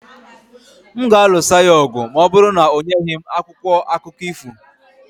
M ga-alụso ya ọgụ ma ọ bụrụ na o nyeghị m akwụkwọ akụkọ ifo